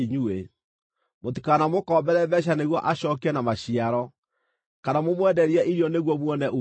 Mũtikanamũkombere mbeeca nĩguo acookie na maciaro, kana mũmwenderie irio nĩguo muone uumithio.